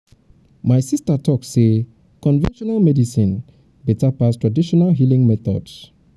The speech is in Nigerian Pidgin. um my sista tok sey conventional medicine beta pass traditional um healing methods.